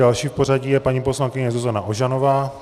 Další v pořadí je paní poslankyně Zuzana Ožanová.